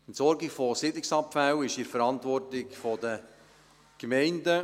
Die Entsorgung von Siedlungsabfällen ist in der Verantwortung von Gemeinden.